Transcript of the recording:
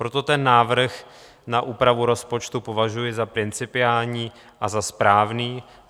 Proto ten návrh na úpravu rozpočtu považuji za principiální a za správný.